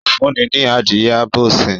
O fún mi ní adìye abo sin